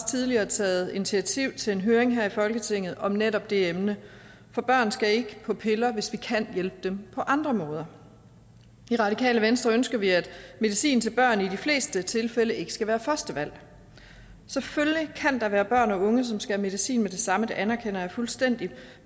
tidligere taget initiativ til en høring her i folketinget om netop det emne for børn skal ikke på piller hvis vi kan hjælpe dem på andre måder i radikale venstre ønsker vi at medicin til børn i de fleste tilfælde ikke skal være første valg selvfølgelig kan der være børn og unge som skal have medicin med det samme det anerkender jeg fuldstændig